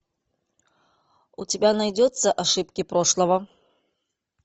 у тебя найдется ошибки прошлого